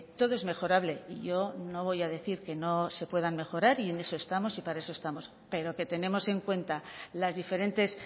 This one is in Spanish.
todo es mejorable y yo no voy a decir que no se puedan mejorar y en eso estamos y para eso estamos pero que tenemos en cuenta las diferentes